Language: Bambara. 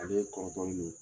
A bɛ kɔrɔtɔli min